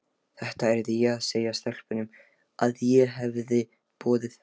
Þetta yrði ég að segja stelpunum, að ég hefði boðið